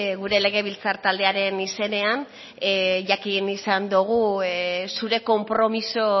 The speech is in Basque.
gure legebiltzar taldearen izenean jakin izan dugu zure konpromiso